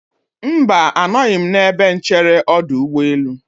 Mba, anọghị m n'ebe nchere ọdụ ụgbọelụ.